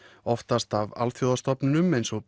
oftast af alþjóðastofnunum eins og